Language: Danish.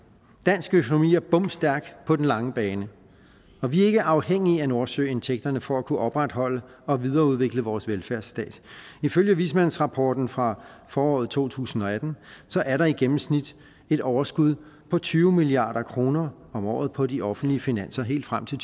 dansk økonomi er bomstærk på den lange bane og vi er ikke afhængige af nordsøindtægterne for at kunne opretholde og videreudvikle vores velfærdsstat ifølge vismandsrapporten fra foråret to tusind og atten er der i gennemsnit et overskud på tyve milliard kroner om året på de offentlige finanser helt frem til